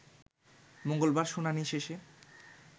মঙ্গলবার শুনানি শেষে